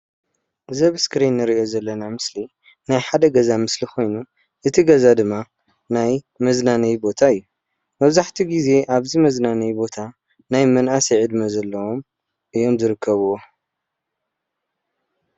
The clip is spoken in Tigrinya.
እዚ ኣብ እስክሪን ንሪኦ ዘለና ምስሊ ናይ ሓደ ገዛ ምስሊ ኾይኑ እቲ ገዛ ድማ ናይ መዝናነዪ ቦታ እዩ፣ መብዛሕተኡ ግዘ ኣብዚ መዝናነዪ ቦታ ናይ መናእሰይ ዕድመ ዘለዎም እዮም ዝርከብዎ።